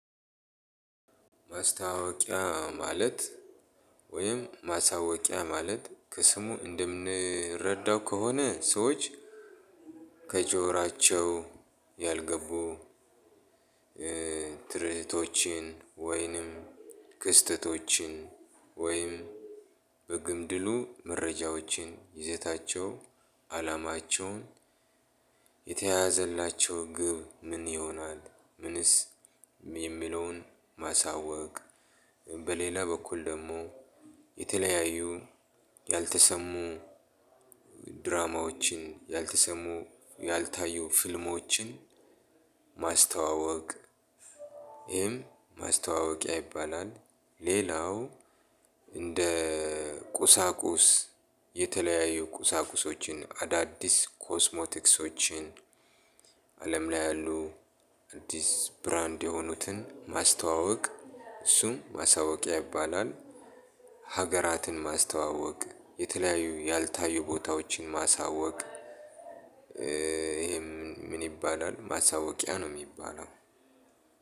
ማስታወቂያ ማለት ወይም ማሳወቂያ ማለት ከስሙ እንደምንረዳው ከሆነ ሰዎች ከጆራቸው ያልገቡ ትርእቶችን ወይንም ክስተቶችን ወይንም በግምድሉ መረጃዎችን ይዘታቸው አላማቸውን የተያዘላቸው ግብ ምን ይሆናል የሚለውን ማሳወቅ። በለላ በኩል ደግሞ የተለያዩ ያልተሰሙ ድራማዎችን ያልተሰሙ ያልታዩ ፊልሞችን ማስተዋወቅ ይሄም ማስተዋወቂያ ይባላል። ሌላው እንደ ቁሳቁስ የተለያዩ ቁሳቁሶችን አዳዲስ ኮስሞቲክሶችን አለም ላይ ያሉ አዲስ ብራንድ የሆኑትን ማስተዋወቅ እሱም ማሳወቂያ ያይባላል። ሀገራትን ማስተዋወቅ የተለያዩ ያልታዩ ቦታዎችን ማሳወቅ። ይሄ ምን ይባላል? ማሳወቂያ ነው የሚባለው።